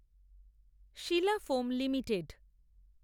Sheela foam limited